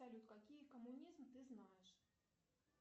салют какие коммунизм ты знаешь